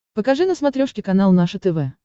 покажи на смотрешке канал наше тв